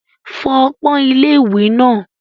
Fọ ọpọ́n ilé-ìwẹ̀ náà.